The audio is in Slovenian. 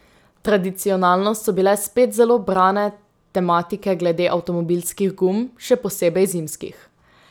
Tradicionalno so bile spet zelo brane tematike glede avtomobilskih gum, še posebej zimskih.